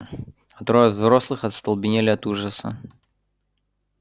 а трое взрослых остолбенели от ужаса